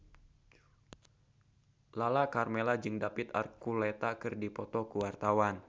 Lala Karmela jeung David Archuletta keur dipoto ku wartawan